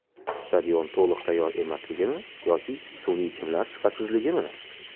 Stadion to‘liq tayyor emasligimi yoki sun’iy chimlar sifatsizligimi?